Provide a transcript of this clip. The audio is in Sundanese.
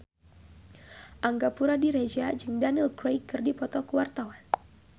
Angga Puradiredja jeung Daniel Craig keur dipoto ku wartawan